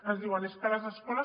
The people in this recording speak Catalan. ens diuen és que les escoles